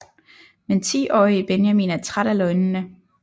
Men 10 årige Benjamin er træt af løgnene